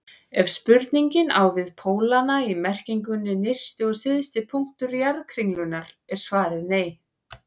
Ef spurningin á við pólana í merkingunni nyrsti og syðsti punktur jarðkringlunnar er svarið nei.